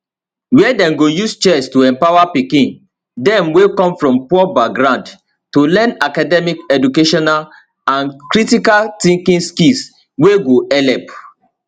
wia dem go use chess to empower pikin dem wey come from poor background to learn academic educational and critical thinking skills wey go helep